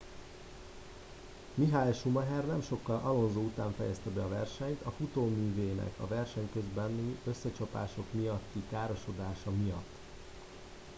michael schumacher nem sokkal alonso után fejezte be a versenyt a futóművének a verseny közbeni összecsapások miatti károsodásai miatt